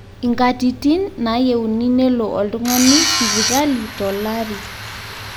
inkatitin naayieuni nelo oltung'ani sipitali tolari